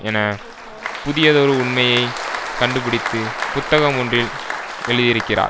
என புதியதொரு உண்மையை கண்டுபிடித்து புத்தகம் ஒன்றில் எழுதியிருக்கிறார்